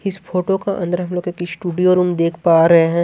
इस फोटो का अंदर हम लोग एक स्टूडियो रूम देख पा रहे हैं।